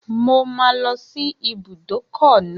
Mo máa lọ sí ibùdókọ̀ náà